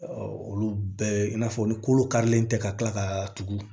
olu bɛɛ i n'a fɔ ni kolo karilen tɛ ka kila ka tugu